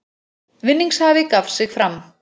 Vinningshafi gaf sig fram